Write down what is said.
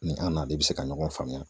Ni an n'a de bɛ se ka ɲɔgɔn faamuya